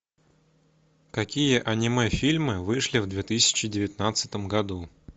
какие аниме фильмы вышли в две тысячи девятнадцатом году